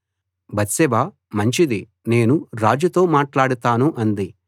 Bathsheba మంచిది నేను రాజుతో మాట్లాడుతాను అంది